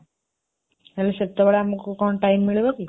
ହେଲେ ସେତେବେଳେ ଆମକୁ କଣ time ମିଳିବ କି?